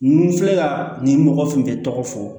Nu filɛ nin mɔgɔ tun bɛ tɔgɔ fɔ